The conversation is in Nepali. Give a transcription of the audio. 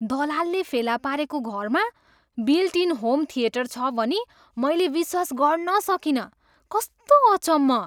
दलालले फेला पारेको घरमा बिल्ट इन होम थिएटर छ भनी मैले विश्वास गर्न सकिनँ। कस्तो अचम्म!